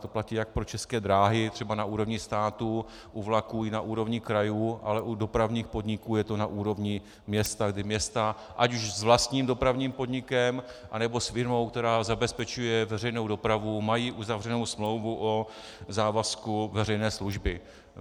To platí jak pro České dráhy, třeba na úrovni státu u vlaků, i na úrovni krajů, ale u dopravních podniků je to na úrovni města, kdy města, ať už s vlastním dopravním podnikem, anebo s firmou, která zabezpečuje veřejnou dopravu, mají uzavřenou smlouvu o závazku veřejné služby.